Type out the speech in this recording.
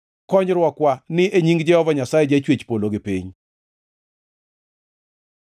Konyruokwa ni e nying Jehova Nyasaye, Jachwech polo gi piny.